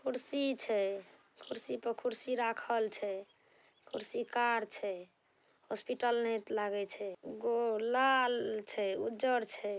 कुर्सी छे। कुर्सी पर कुर्सी राखल छै। कुर्सी कार छै। हॉस्पिटल ने लागे छै उ लाल छैउज्जर छै।